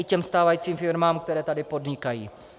I těm stávajícím firmám, které tady podnikají.